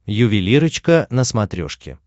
ювелирочка на смотрешке